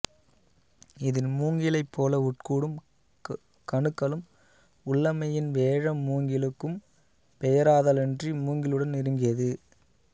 இதில் மூங்கிலைப் போல உட்கூடும் கணுக்களும் உள்ளமையின் வேழம் மூங்கிலுக்கும் பெயராதலன்றி மூங்கிலுடன் நெருங்கியது